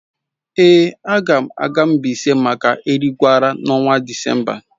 Èé, a ga m aga Mbaise maka Erigwara n’ọnwa Disemba